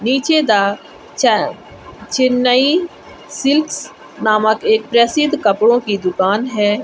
नीचे द चा चेन्नई सिल्क नामक एक प्रसिद्ध एक कपड़ों की दुकान है।